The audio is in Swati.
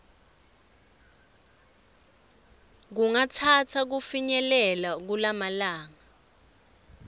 kungatsatsa kufinyelela kumalanga